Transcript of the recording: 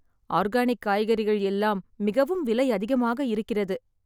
Organic காய்கறிகள் எல்லாம் மிகவும் விலை அதிகமாக இருக்கிறது.